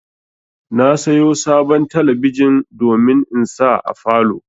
Na sayo sabon talabijin domin in sa a falow